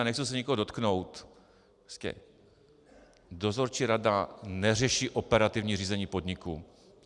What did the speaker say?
A nechci se nikoho dotknout, dozorčí rada neřeší operativní řízení podniku.